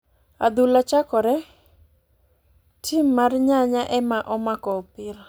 Adhula chakore ,ti mar nyanya ema omako opira.